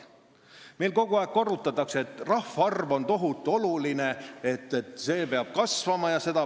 Meil kogu aeg korrutatakse, et rahvaarv on tohutu oluline, see peab kasvama.